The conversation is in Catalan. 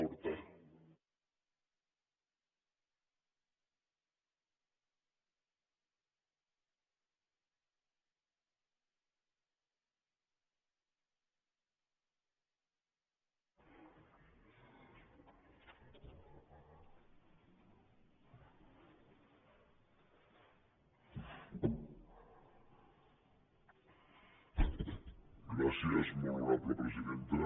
gràcies molt honorable presidenta